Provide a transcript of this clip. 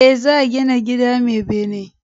E, za gina gida mai bene.